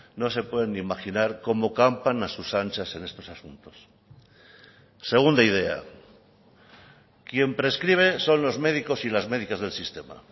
no se pueden ni imaginar cómo campan a sus anchas en estos asuntos segunda idea quien prescribe son los médicos y las medicas del sistema